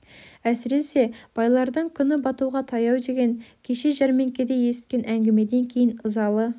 әсіресе байлардың күні батуға таяу деген кеше жәрмеңкеде есіткен әңгімеден кейін ызалы